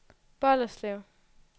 Bolderslev